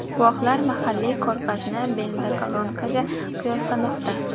Guvohlar mahalliy ko‘rfazni benzokolonkaga qiyoslamoqda.